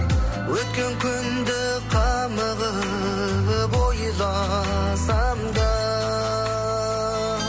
өткен күнде қамығып ойласам да